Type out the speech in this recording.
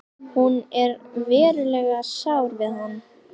Hún er verulega sár við hann.